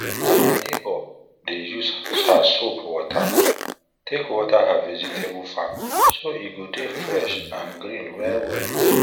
na my neighbour dey use her soap water take water her vegetable farm so e go dey fresh and green wellwell